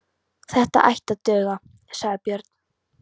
Þetta ætti að duga, sagði Björn.